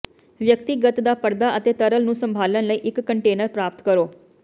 ਵਿਅਕਤੀਗਤ ਦਾ ਪਰਦਾ ਅਤੇ ਤਰਲ ਨੂੰ ਸੰਭਾਲਣ ਲਈ ਇੱਕ ਕੰਟੇਨਰ ਪ੍ਰਾਪਤ ਕਰੋ